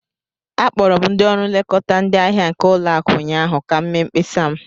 Akpọrọ m ndị ọrụ nlekọta ndị ahịa nke ụlọakụ ụnyaahụ ka m mee mkpesa m.